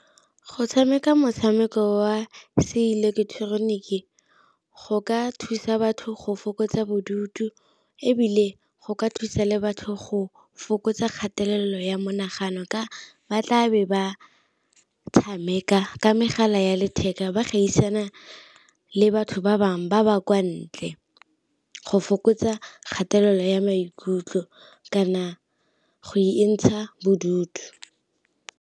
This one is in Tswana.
Go tshameka motshameko wa se ileketeroniki go ka thusa batho go fokotsa bodutu, ebile go ka thusa le batho go fokotsa kgatelelo ya monagano ka ba tla be ba tshameka ka megala ya letheka ba gaisana le batho ba bangwe ba ba kwa ntle, go fokotsa kgatelelo ya maikutlo kana go e ntsha bodutu.